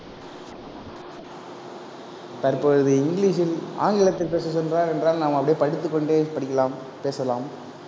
தற்பொழுது இங்கிலீஷில் ஆங்கிலத்தில் என்றால், நாம் அப்படியே படித்துக் கொண்டே படிக்கலாம் பேசலாம்.